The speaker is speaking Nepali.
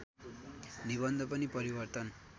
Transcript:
निबन्ध पनि परिवर्तन